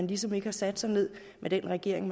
ligesom ikke har sat sig ned med den regering